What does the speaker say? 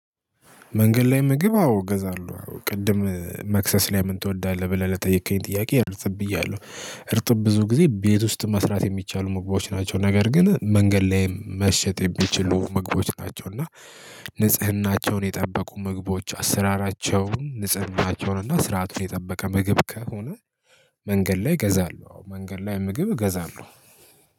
መንገድ ላይ ምግብ አዎ እገዛለሁ ቅድም መክሰስ ላይ ምን ትወዳለህ ብለህ ለጠየከኝ። ጥያቄ እርጥብ እያለሁ። እርጥብ ብዙ ጊዜ ቤት ውስጥ መስራት የሚቻሉ ምግቦች ናቸው። ነገር ግን መንገድ ላይ መሸጥ የሚችሉ ምግቦች ናቸው። እና ንጽህናቸውን የጠበቁ ምግቦች አሰራራቸውን ንጽህናቸውን እና ስርዓቱን የጠበቀ ምግብ ከሆነ። መንገድ ላይ እገዛለሁ አዎ መንገድ ላይ ምግብ እገዛለሁ